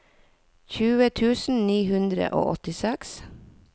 tjue tusen ni hundre og åttiseks